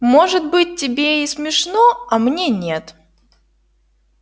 может быть тебе и смешно а мне нет